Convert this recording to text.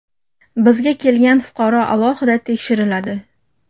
Bizga kelgan fuqaro alohida tekshiriladi.